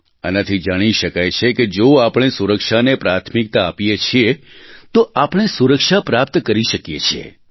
આનાથી જાણી શકાય છે કે જો આપણે સુરક્ષાને પ્રાથમિકતા આપીએ છીએ તો આપણે સુરક્ષા પ્રાપ્ત કરી શકીએ છીએ